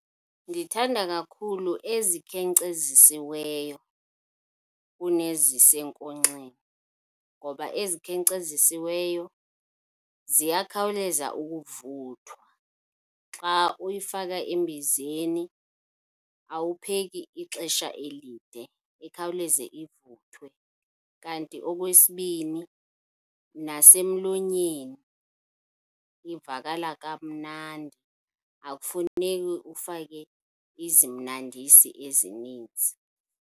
Ndithanda kakhulu ezikhenkcezisiweyo kunezisenkonxeni ngoba ezikhenkcezisiweyo ziyakhawuleza ukuvuthwa. Xa uyifaka embizeni awupheki ixesha elide, ikhawuleze ivuthwe. Kanti okwesibini, nasemlonyeni ivakala kamnandi, akufuneki ufake izimnandisi ezininzi.